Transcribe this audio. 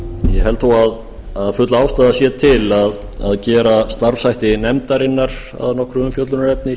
ég held þó að full ástæða sé til að gera starfshætti nefndarinnar að nokkru umfjöllunarefni